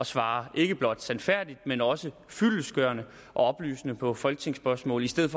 svare ikke blot sandfærdigt men også fyldestgørende og oplysende på folketingsspørgsmål i stedet